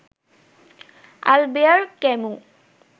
Albert Camus